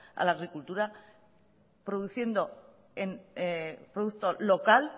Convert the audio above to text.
a la agricultura produciendo producto local